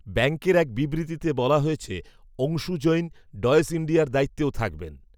ব্যাঙ্কের এক বিবৃতিতে বলা হয়েছে, অংশু জৈন, ডয়েশ ইণ্ডিয়ার দায়িত্বেও থাকবেন